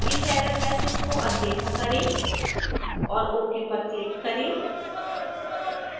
इस error message को अनदेखा करें और ok पर क्लिक करें